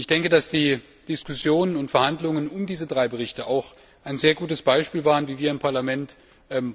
Ich denke, dass die Diskussionen und die Verhandlungen in Bezug auf diese drei Berichte auch ein sehr gutes Beispiel dafür waren, wie wir im Parlament